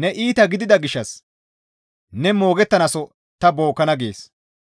ne iita gidida gishshas ne moogettanaaso ta bookkana» gees.